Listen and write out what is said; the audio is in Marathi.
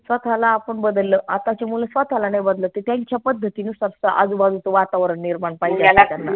स्वतःला आपन बदललं आताचे मुलं स्वतःला नाई बदलत ते त्यांच्या पद्धती नुसार आजूबाजूचं वातावरण निर्माण